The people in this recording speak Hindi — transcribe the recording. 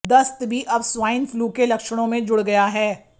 दस्त भी अब स्वाइन फ्लू के लक्षणों में जुड़ गया है